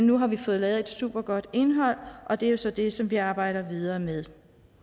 nu har vi fået lavet et supergodt indhold og det er jo så det som vi arbejder videre med